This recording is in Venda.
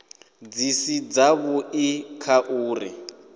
dzi si dzavhui kha uri